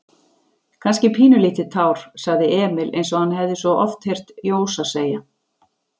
Kannski pínulítið tár, sagði Emil einsog hann hafði svo oft heyrt Jósa segja.